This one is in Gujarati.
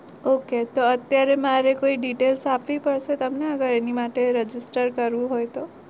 Okay તો અત્યારે મારે કોઈ details આપવી પડશે તમને અગર એની માટે register કરવું હોય તો?